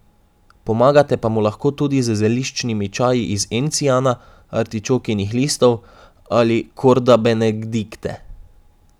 Pomagate pa mu lahko tudi z zeliščnimi čaji iz encijana, artičokinih listov ali kordabenedikte.